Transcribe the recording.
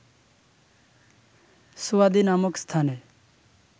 সুয়াদি নামক স্থানে